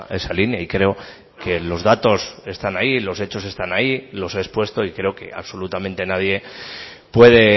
esa línea y creo que los datos están ahí los hechos están ahí los he expuesto y creo que absolutamente nadie puede